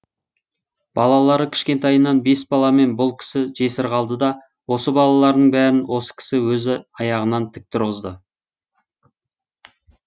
балалары кішкентайынан бес баламен бұл кісі жесір қалды да осы балаларының бәрін осы кісі өзі аяғынан тік тұрғызды